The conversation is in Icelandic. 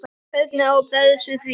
Hvernig á að bregðast við því?